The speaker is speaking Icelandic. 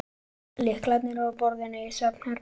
Lyklarnir eru á borðinu í svefnherberginu.